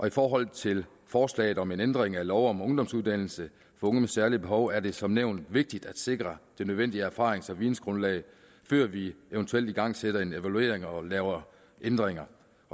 i forhold til forslaget om en ændring af lov om ungdomsuddannelse for unge med særlige behov er det som nævnt vigtigt at sikre det nødvendige erfarings og vidensgrundlag før vi eventuelt igangsætter en evaluering og laver ændringer